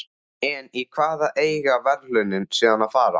En í hvað eiga verðlaunin síðan að fara?